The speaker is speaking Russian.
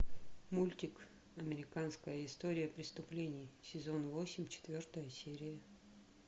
мультик американская история преступлений сезон восемь четвертая серия